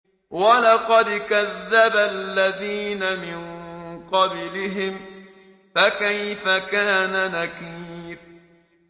وَلَقَدْ كَذَّبَ الَّذِينَ مِن قَبْلِهِمْ فَكَيْفَ كَانَ نَكِيرِ